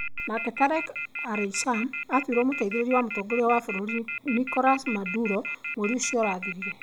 Nake Tareck El Aissami aatuirwo mũteithĩrĩria wa mũtongoria wa bũrũri Nicolas Maduro mweri ũcio ũrathirire.